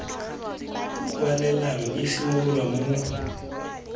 kwalelano e simololang mo faeleng